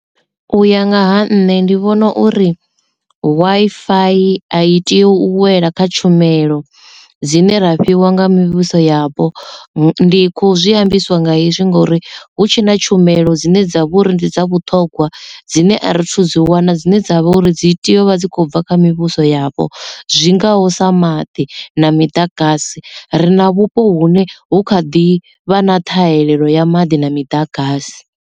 U ya nga ha nṋe ndi vhona uri Wi-Fi a i tea u wela kha tshumelo dzine ra fhiwa nga mivhuso yapo ndi kho zwi ambiswa nga hezwi ngori hu tshena tshumelo dzine dza vha uri ndi dza vhuṱhogwa dzine a ri thu dzi wana dzine dzavha uri dzi tea u vha dzi khou bva kha mivhuso yapo zwingaho sa maḓi na miḓagasi ri na vhupo hune hu kha ḓi vha na ṱhahelelo ya maḓi na miḓagasi.